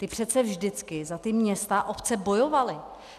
Ti přece vždycky za ta města a obce bojovali.